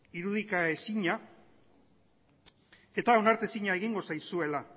irudikaezina eta onartezina egingo zaizuela